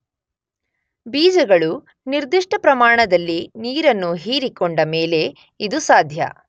ಬೀಜಗಳು ನಿರ್ದಿಷ್ಟ ಪ್ರಮಾಣದಲ್ಲಿ ನೀರನ್ನು ಹೀರಿಕೊಂಡ ಮೇಲೇ ಇದು ಸಾಧ್ಯ.